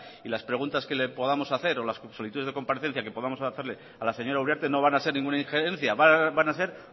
y las preguntas que le podamos hacer o las solicitudes de comparecencia que podamos hacerle a la señora uriarte no van a ser ninguna injerencia van a ser